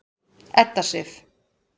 Edda Sif.